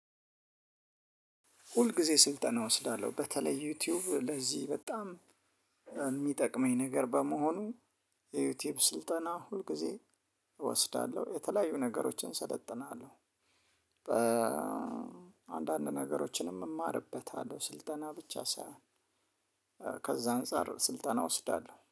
ሁል ጊዜ ስልጠና ወስዳለሁ በተለይ ዩቲዩብ ለዚህ በጣም የሚጠቅመኝ ነገር በመሆኑ የዩቲዩብ ስልጠና ሁልጊዜ እወስዳለሁ የተለያዩ ነገሮችን እሰለጥናለሁ። አንዳንድ ነገሮችንም እማርበታለሁ ስልጠና ብቻ ሳይሆን። ከዛ አንፃር ስልጠና እወስዳለሁ